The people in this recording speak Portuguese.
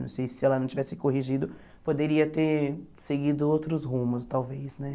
Não sei se ela não tivesse corrigido, poderia ter seguido outros rumos, talvez, né?